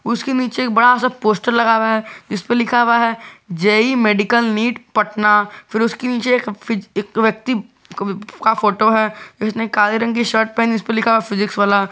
उसके नीचे एक बड़ा सा पोस्टर लगा हुआ है जिसपे लिखा हुआ है जे_ई मेडिकल नीट पटना फिर उसके नीचे फिर एक व्यक्ति का भी का फोटो है जिसने काले रंग की शर्ट पहनी है जिसपे लिखा है फिजिक्स वाला।